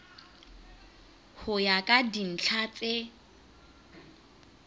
ho ya ka dintlha tse